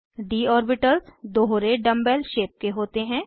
D orbitals दोहरे dumb bell shape के होते हैं